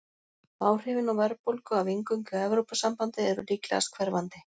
Áhrifin á verðbólgu af inngöngu í Evrópusambandið eru líklegast hverfandi.